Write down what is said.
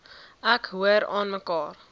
ek hoor aanmekaar